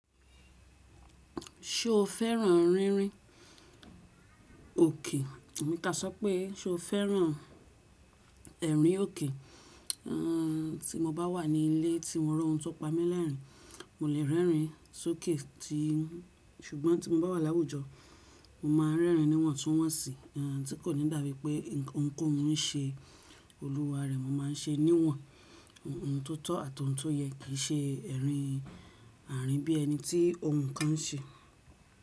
Ṣo fẹ́ràn rínrín òkè? Tabi ká sọ pé, ṣo fẹ́ràn ẹ̀rín òkè? Ti mo bá wà ní ilé tí mo rọ́ ohun tó pa mí lẹ́rìn-ín, mo lè rẹ́rìn sókè ti, ṣùgbọ́n tí mo bá wà láwùjọ, mo máa rẹ́rìn níwọ̀n tún wọ̀n si, tí kò ní dàbí pé nǹkan ounkohun ń ṣe olúwa rẹ̀. Mo máa ń ṣe níwọ̀n ohun tó tọ́ àti ohun tó yẹ kí i ṣe ẹ̀rín àárín bí ẹni tí ohun kan ń ṣe.